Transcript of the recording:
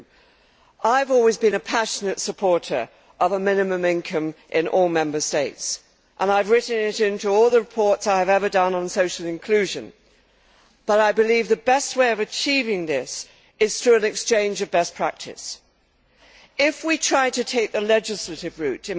2. I have always been a passionate supporter of a minimum income in all Member States, and I have written it into all the reports I have ever done on social inclusion, but I believe the best way of achieving this is through an exchange of best practice. In my view, if we try to take the legislative route,